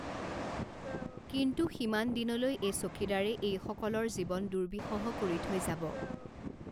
কিন্তু সিমান দিনলৈ এই চকীদাৰে এইসকলৰ জীৱন দুৰ্বিষহ কৰি থৈ যাব।